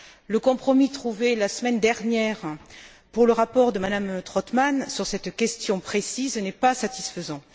Le compromis trouvé la semaine dernière pour le rapport de M me Trautmann sur cette question précise n'est pas satisfaisant.